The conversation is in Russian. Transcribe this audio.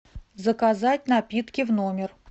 заказать напитки в номер